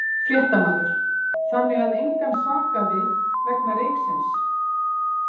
Fréttamaður: Þannig að engan sakaði vegna reyksins?